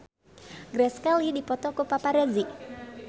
Grace Kelly dipoto ku paparazi